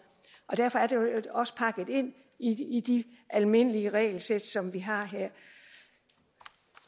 og derfor er det også pakket ind i de almindelige regelsæt som vi har her